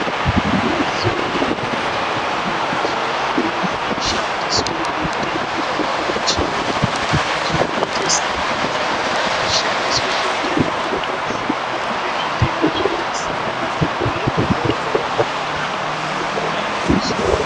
Mazuwa anaya mitombo yedu yechindau yakushandiswa kuita mitombo yechiyungu yakaita segedhlani rakushandiswa kuita mitombo inorape zvitenda zvakasiyana nemitombo wekupinza mukanwa namafuta ekuzora.